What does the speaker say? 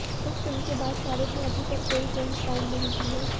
इस फिल्म के बाद शाहरुख ने अभी तक कोई फिल्म साइन नहीं की है